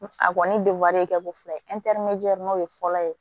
A kɔni ye ko fila ye o ye fɔlɔ ye